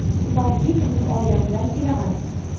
balki butun oilam bilan kelaman.